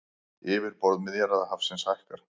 Yfirborð Miðjarðarhafsins hækkar